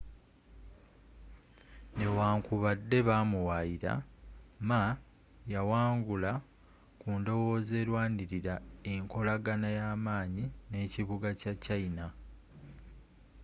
newankubadde ba muwaayira ma yawangula ku ndowooza erwanirira enkolagana ey'amaanyi n'ekibuga kya china